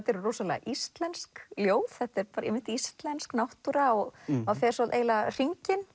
eru rosalega íslensk ljóð þetta er einmitt íslensk náttúra og hann fer eiginlega hringinn